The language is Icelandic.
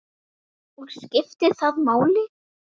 Og skiptir það máli?